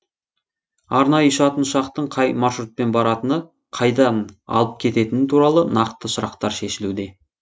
арнайы ұшатын ұшақтың қай маршрутпен баратыны қайдан алып кететіні туралы нақты сұрақтар шешілуде